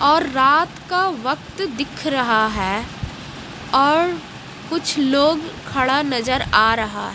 और रात का वक्त दिख रहा है और कुछ लोग खड़ा नजर आ रहा--